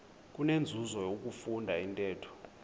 kunenzuzo ukufunda intetho